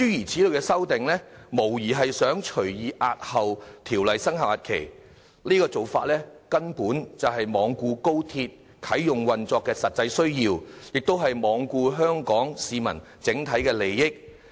這類修訂無疑旨在隨意押後《條例草案》的生效日期，根本罔顧高鐵啟用運作的實際需要，也罔顧香港市民的整體利益。